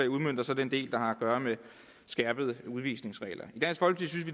udmønter så den del der har at gøre med skærpede udvisningsregler